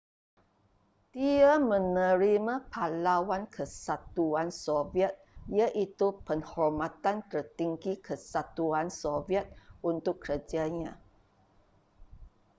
dia menerima pahlawan kesatuan soviet iaitu penghormatan tertinggi kesatuan soviet untuk kerjanya